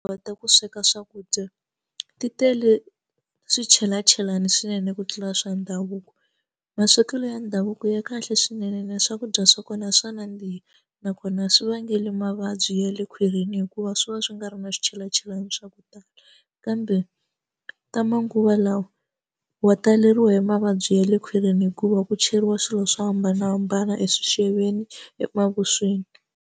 Ku kota ku sweka swakudya ti tele swichelachelani swinene ku tlula swa ndhavuko maswekelo ya ndhavuko ya kahle swinene ene swakudya swa kona swa nandziha nakona swi vangela mavabyi ya le kwini hikuva swi va swi nga ri na swichelachelana swa ku tala kambe ta manguva lawa wa taleriwa hi mavabyi ya le khwirini hikuva ku cheriwa swilo swo hambanahambana eswixeveni emavusweni.